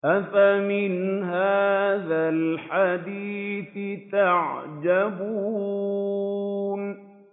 أَفَمِنْ هَٰذَا الْحَدِيثِ تَعْجَبُونَ